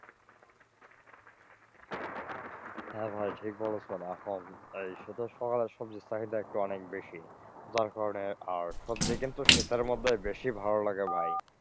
হ্যাঁ ভাই ঠিক বলেছেন আসলে এই শীতের সময় সবজির চাহিদা অনেক বেশি যার কারনে আর সবজি কিন্তু শীতের মধ্যেই বেশি ভালো লাগে ভাই।